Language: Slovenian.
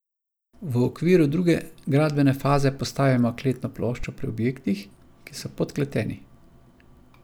V okviru druge gradbene faze postavimo kletno ploščo pri objektih, ki so podkleteni.